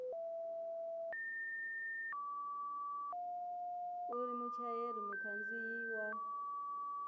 u ri muchayeri mukhandziyi wa